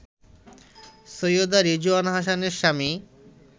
সৈয়দা রিজওয়ানা হাসানের স্বামী